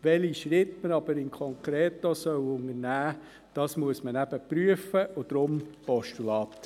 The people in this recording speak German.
Welche Schritte man aber konkret unternehmen soll, muss man eben prüfen, deshalb das Postulat.